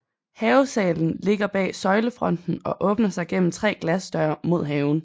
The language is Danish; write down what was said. Havesalen ligger bag søjlefronten og åbner sig gennem tre glasdøre mod haven